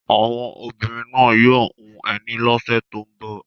Àwọn obìnrin náà yóò hun ẹní lọ́sẹ̀ tó ń bọ̀.